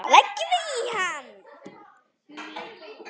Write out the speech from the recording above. Þá leggjum við í hann.